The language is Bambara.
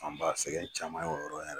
An b'a sɛgɛn caman ye o yɔrɔ